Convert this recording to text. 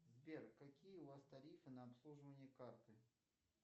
сбер какие у вас тарифы на обслуживание карты